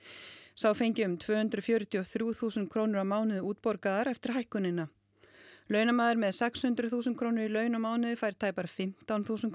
sá fengi um tvö hundruð fjörutíu og þrjú þúsund krónur á mánuði útborgaðar eftir hækkunina launamaður með sex hundruð þúsund krónur í laun á mánuði fær tæpar fimmtán þúsund